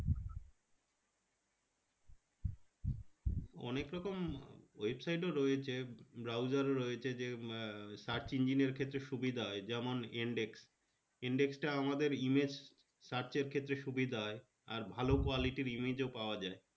অনেকরকম website ও রয়েছে browser ও রয়েছে যে search engine এর ক্ষেত্রে সুবিধা হয় যেমন yandex yandex তা আমাদের image search এর ক্ষেত্রে সুবিধা হয় আর ভালো quality র image ও পাওয়া যায়